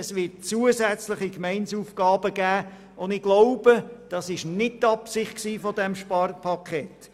Es wird zusätzliche Gemeindeaufgaben geben, und ich glaube, dies war nicht die Absicht dieses Sparpakets.